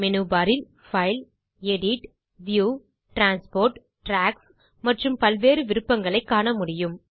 menu bar இல் file edit view transport tracks மற்றும் பல்வேறு விருப்பங்களைக் காணமுடியும்